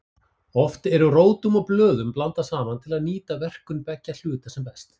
Oft eru rótum og blöðum blandað saman til að nýta verkun beggja hluta sem best.